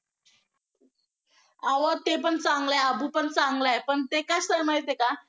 अहो तेपण चांगलं आहे. अबूपण चांगलं आहे पण ते कसं आहे माहिती आहे का